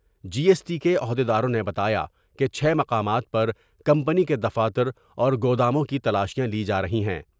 جی S T کے عہد یداروں نے بتایا کہ چھ مقامات پر کمپنی کے دفاتر اور گوداموں کی تلاشیاں لی جارہی ہیں ۔